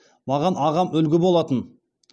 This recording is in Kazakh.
маған ағам үлгі болатын